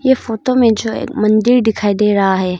ये फोटो में जो एक मंदिर दिखाई दे रहा है।